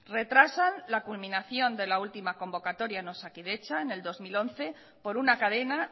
retrasan la culminación de la última convocatoria en osakidetza en el dos mil once por una cadena